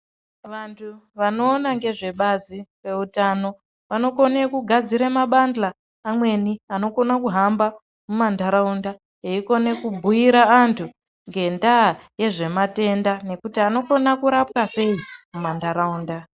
Vantu vanoona ngezve bazi reutano vanokone kugadzirw mabahla amweni anokono kuhamba mumantaraunda eikone kubhuira antu ngendaa yezve matenda nekuti anokone kurapwa sei mumantaraunda.